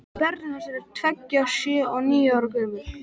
Börnin hans eru tveggja, sjö og níu ára gömul.